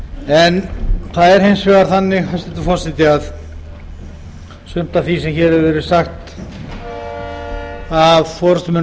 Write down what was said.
en það er hins vegar þannig hæstvirtur forseti að sumt af því sem hér hefur verið sagt af forustumönnum